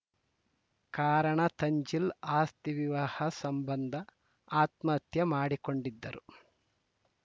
ಕಾರಣ ತನ್ಜಿಲ್‌ ಆಸ್ತಿ ವಿವಾಹ ಸಂಬಂಧ ಆತ್ಮಹತ್ಯೆ ಮಾಡಿಕೊಂಡಿದ್ದರು